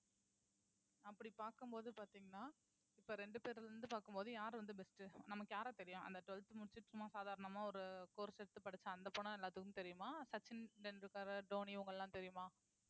அப்படி பார்க்கும்போது பார்த்தீங்கன்னா இப்ப இரண்டு பேர்ல இருந்து பார்க்கும் போது யார் வந்து best உ நமக்கு யார தெரியும் அந்த twelfth முடிச்சுட்டு சும்மா சாதாரணமா ஒரு course எடுத்து படிச்சேன் அந்தப் போனா எல்லாத்துக்கும் தெரியுமா சச்சின் டெண்டுல்கர் தோனி இவங்க எல்லாம் தெரியுமா